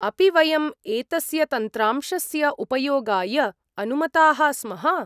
अपि वयम् एतस्य तन्त्रांशस्य उपयोगाय अनुमताः स्मः?